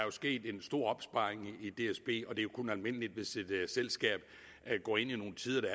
er sket en stor opsparing i dsb og det kun almindeligt at hvis et selskab går ind i nogle tider der